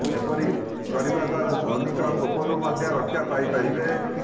ଏପରି କରିବା ଦ୍ବାରା ଶନିଙ୍କ କୋପରୁ ମଧ୍ୟ ରକ୍ଷା ପାଇ ପାରିବେ